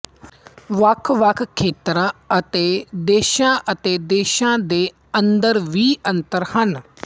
ਵੱਖਵੱਖ ਖੇਤਰਾਂ ਅਤੇ ਦੇਸ਼ਾਂ ਅਤੇ ਦੇਸ਼ਾਂ ਦੇ ਅੰਦਰ ਵੀ ਅੰਤਰ ਹਨ